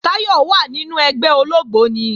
Táyọ̀ wà nínu ẹgbẹ́ ológbóni